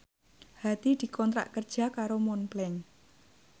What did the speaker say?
Hadi dikontrak kerja karo Montblanc